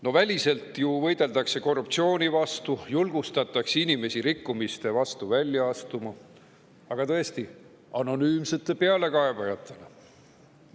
No väliselt ju võideldakse korruptsiooni vastu, julgustatakse inimesi rikkumiste vastu välja astuma, aga tõesti, anonüümsete pealekaebajatena.